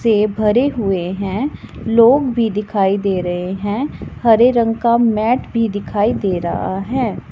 से भरे हुए हैं लोग भी दिखाई दे रहे हैं हरे रंग का मैट भी दिखाई दे रहा है।